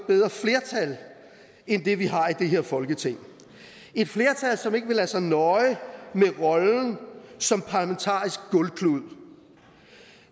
bedre flertal end det vi har i det her folketing et flertal som ikke vil lade sig nøje med rollen som parlamentarisk gulvklud